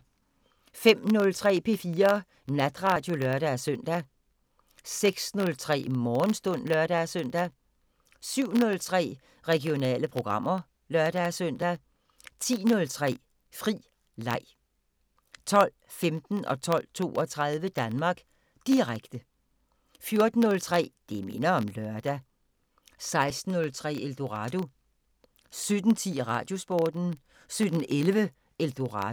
05:03: P4 Natradio (lør-søn) 06:03: Morgenstund (lør-søn) 07:03: Regionale programmer (lør-søn) 10:03: Fri leg 12:15: Danmark Direkte 12:32: Danmark Direkte 14:03: Det minder om lørdag 16:03: Eldorado 17:10: Radiosporten 17:11: Eldorado